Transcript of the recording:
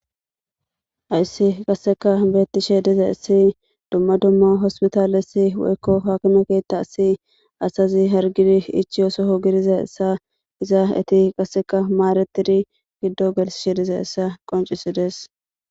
Haysi kaseka beetizaysi duma duma hospitale woyko haakime keethasi asazi hargiri ichiyo soho gelizaysa iza eeti kaseka maadetidi gido gelisidi dizaysa qonchisides.